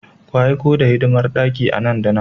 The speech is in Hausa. Ku aiko the hidimar daki nan da nan!